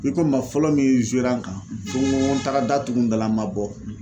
I ko n ma fɔlɔ min zera n kan fɔ n ko ko n taara da tugu n dara n ma bɔ